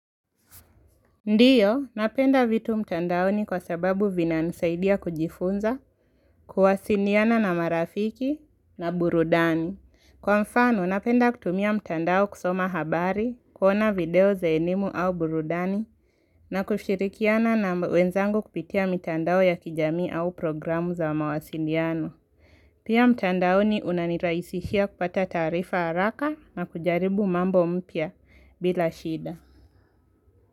Ndiyo, napenda vitu mtandaoni kwa sababu vinanisaidia kujifunza, kuwasindiana na marafiki na burudani. Kwa mfano, napenda kutumia mtandao kusoma habari, kuona video za elimu au burudani, na kushirikiana na wenzangu kupitia mtandao ya kijami au programu za mawasindiano. Pia mtandaoni unaniraisishia kupata tarifa haraka na kujaribu mambo mpia bila shida.